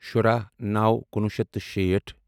شُراہ نَوو کُنوُہ شیٚتھ تہٕ شیٖٹھ